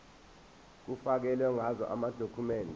kufakelwe ngazo amadokhumende